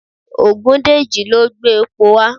Ògúndèjì ló gbé epo wá